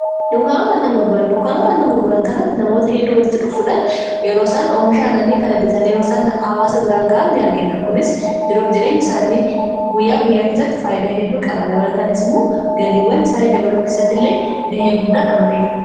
dunkaanota annan grguran dukkaanoota annan gurguran kanatti namoota hedduu warritti dhuffuudaan yeroo isaan oomishaa naanii kana bitaaniiruisaan aawaasa biraan ga'a ni argina kunis jiruuf jireenya isaanii guyyaa guyyaa keessatti faayyinaa hedduu qaba dabalataanis immoo galiiwwan isaanii dabaloo keessatti illee gahee guddaa taphatiira